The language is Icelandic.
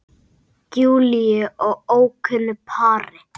Júlíu og ókunnu pari.